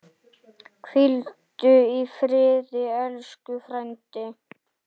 Hvíldu í friði elsku frændi.